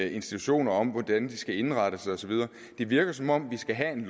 institutioner om hvordan de skal indrette sig og så videre det virker som om vi skal have en